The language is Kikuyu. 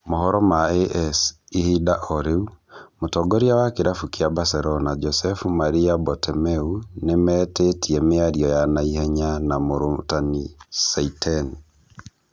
Mohoro ma AS, ihinda orĩu, Mũtongoria wa kĩrabu kĩa Barcelona Josep Maria Bartomeu nĩmetĩitie mĩario ya naihenya na mũrutani Seiten